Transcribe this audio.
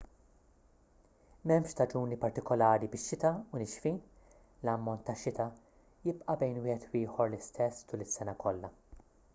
m'hemmx staġuni partikulari bix-xita u nixfin l-ammont tax-xita jibqa' bejn wieħed u ieħor l-istess tul is-sena kollha